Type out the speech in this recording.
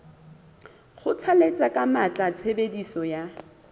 kgothalletsa ka matla tshebediso ya